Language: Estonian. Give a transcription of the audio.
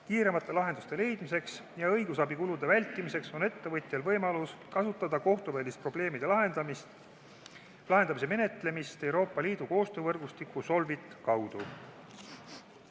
Kiiremate lahenduste leidmiseks ja õigusabikulude vältimiseks on ettevõtjal võimalus kasutada kohtuvälist probleemide lahendamise menetlust Euroopa Liidu koostöövõrgustiku SOLVIT kaudu.